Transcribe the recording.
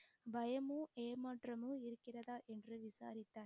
பயமும் ஏமாற்றமும் இருக்கிறதா என்று விசாரித்தார்